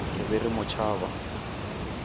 re be re mo tšhaba